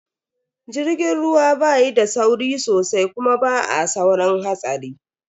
Jirgin ruwa ba yi da sauri sosai kuma ba a saurin hatsari.